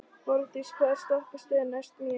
Borgdís, hvaða stoppistöð er næst mér?